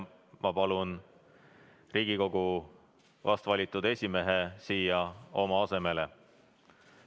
Ma palun Riigikogu vastvalitud esimehe siia oma asemele.